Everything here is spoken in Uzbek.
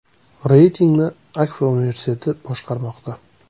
Reytingni AKFA universiteti boshqarmoqda.